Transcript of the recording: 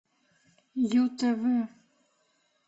ю тв